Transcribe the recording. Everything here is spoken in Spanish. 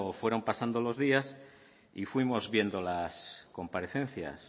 fueron pasando los días y fuimos viendo las comparecencias